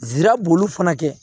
Nsirabulu fana kɛ